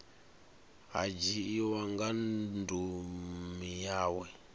ha dzhiiwa nga ndumi yawe